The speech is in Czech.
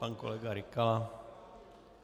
Pan kolega Rykala.